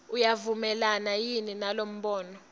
uyavumelana yini nalombono